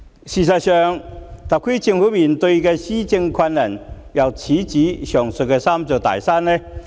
事實上，特區政府面對的施政難題，又豈止這"三座大山"。